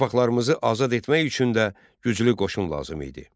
Torpaqlarımızı azad etmək üçün də güclü qoşun lazım idi.